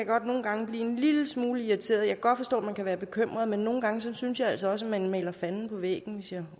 godt nogle gange blive en lille smule irriteret jeg kan godt forstå man kan være bekymret men nogle gange synes jeg altså også man maler fanden på væggen hvis jeg